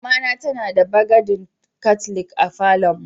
Mama ta tana da bagadin katlik a falon mu.